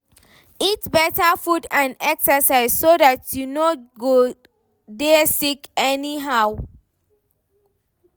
Eat better food and exercise so dat you no go dey sick anyhow